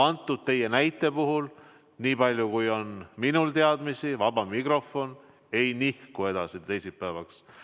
Selle teie näite puhul, nii palju kui ma tean, vaba mikrofon ei nihku edasi teisipäevale.